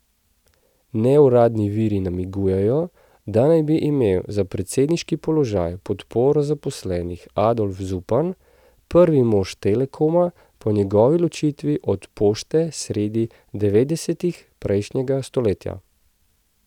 Neuradni viri namigujejo, da naj bi imel za predsedniški položaj podporo zaposlenih Adolf Zupan, prvi mož Telekoma po njegovi ločitvi od Pošte sredi devetdesetih prejšnjega stoletja.